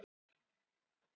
Sérstök réttindi hluta.